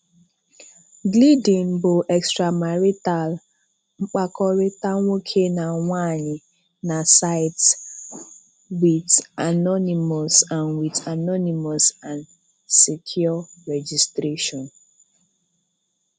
Gleeden bụ extramarital mkpakọrịta nwókè na nwàanyị na saịtị, with anonymous and with anonymous and secure registration.